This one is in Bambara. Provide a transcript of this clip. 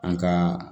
An ka